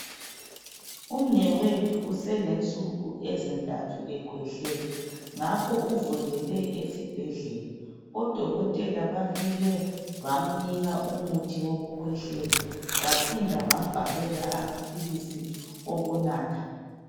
Umnewethu uselensuku ezintathu ekhwehlela ngakho uvukele esibhendlela odokotela bafike bamnika umuthi wokukhwehlela baphinda bambhalela amaphilisi okunatha.